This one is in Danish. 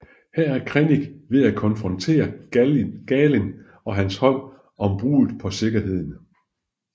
Her er Krennic ved at konfrontere Galen og hans hold om bruddet på sikkerheden